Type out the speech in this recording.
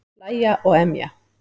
Hlæja og emja.